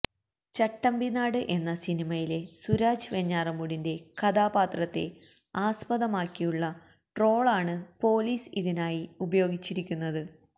ചട്ടമ്പിനാട് എന്ന സിനിമയിലെ സുരാജ് വെഞ്ഞാറമൂടിന്റെ കഥാപാത്രത്തെ ആസ്പദമാക്കിയുള്ള ട്രോളാണ് പൊലീസ് ഇതിനായി ഉപയോഗിച്ചിരിക്കുന്നത്